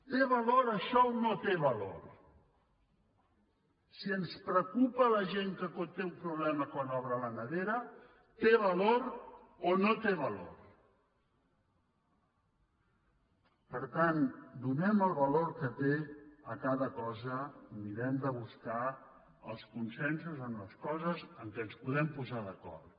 té valor això o no té valor si ens preocupa la gent que té un problema quan obre la nevera té valor o no té valor per tant donem el valor que té a cada cosa i mirem de buscar els consensos en les coses en què ens podem posar d’acord